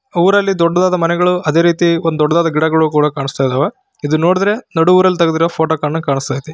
ಊರಲ್ಲಿ ದೊಡ್ಡದಾದ ಮನೆಗಳು ಅದೇ ರೀತಿ ಒಂದು ದೊಡ್ಡದಾದ ಗಿಡಗಳು ಕೂಡ ಕಾಣಿಸ್ತಾ ಇದಾವೆ ಇದು ನೋಡುದ್ರೆ ನೋಡು ಊರಲ್ಲಿ ತೆಗೆದಿರುವ ಫೋಟೋ ಕಂಡಂಗೆ ಕಾಣಿಸ್ತಾ ಇದೆ.